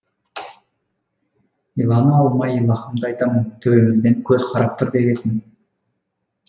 илана алмай иллаһымды айтамын төбемізден көз қарап тұр дегесін